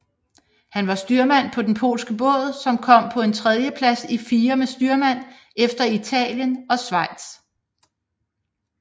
Han var styrmand på den polske Båd som kom på en tredjeplads i fire med styrmand efter Italien og Schweiz